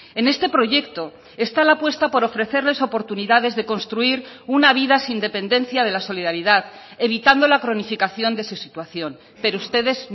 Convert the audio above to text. en este proyecto está la apuesta por ofrecerles oportunidades de construir una vida sin dependencia de la solidaridad evitando la cronificación de su situación pero ustedes